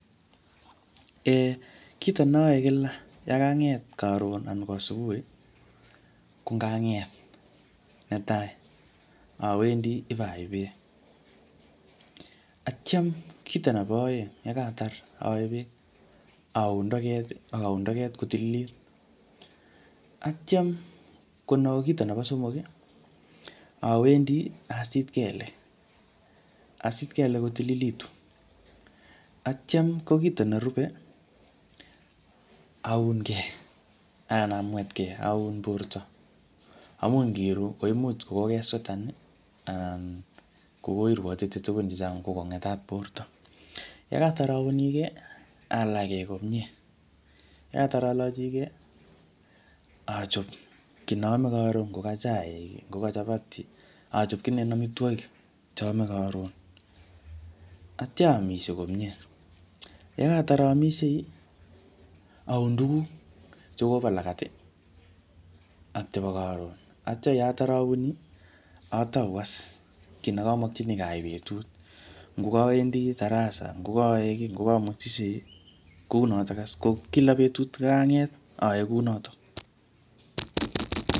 [um]Kito ne aae kila yakanget karon anan ko asubuhi, ko ngang'et netai, awendi ipayai beek. Atyam kito nebo aeng, yekatar aae beek, aun toget, akaun toget kotililit. Atyam ko no kito nebo somok, awendi asit kelek. Asit kelek kotililitu. Atyam ko kito nerube, aunkey anan amwetkey, aun borto. Amu ngiru, koimuch kokokeswetan, anan koirwotite tugun chechang ko ngetat borto. yekatar aunigey, alachkey komye. Yekatar alachikey, achop kiy ne aame karon, ngoka chaik, ngoka chapati. Achop kininen amitwogik che aame karon. Atya aamishe komyee. Yekatar aamishie, aun tuguk che kobo lagat, ak chebo karon. Atya yeatar auni, atau as kiy ne kamakchinikey aai betut. Ngo kawendi darasa, ngokaae kiy, ngokamwetishei, kounotok as. Ko kila betut ngang'et aae kunotok